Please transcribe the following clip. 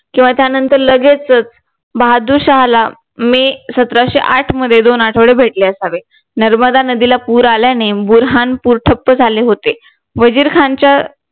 किंवा त्यानंतर लगेचच बहादूर शाहला मे सतराशे आठ मध्ये दोन आठवडे भेटले असावेत नर्मदा नदीला पूर आल्याने बुऱ्हाणपूर ठप्प झाले होते वजीर खानच्या